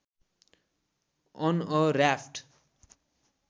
on a raft